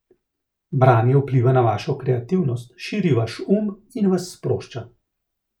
Branje vpliva na vašo kreativnost, širi vaš um in vas sprošča.